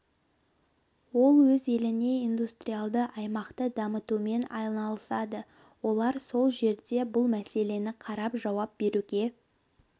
ол өз елінде индустриалды аймақты дамытумен айналысады олар сол жерде бұл мәселені қарап жауап беруге